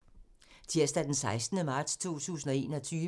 Tirsdag d. 16. marts 2021